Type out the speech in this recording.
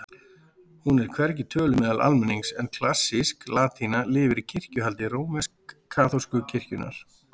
Hún er hvergi töluð meðal almennings en klassísk latína lifir í kirkjuhaldi rómversk-kaþólsku kirkjunnar.